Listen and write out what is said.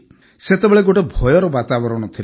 ସେତେବେଳେ ଗୋଟିଏ ଭୟର ବାତାବରଣ ଥିଲା